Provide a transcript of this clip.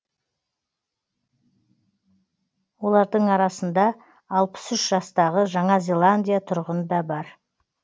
олардың арасында алпыс үш жастағы жаңа зеландия тұрғыны да бар